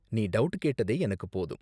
நீ டவுட் கேட்டதே எனக்கு போதும்.